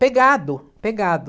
Pegado, pegado.